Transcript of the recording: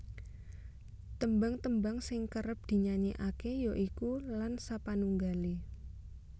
Tembang tembang sing kerep dinyanyekake ya iku Lan sapanunggale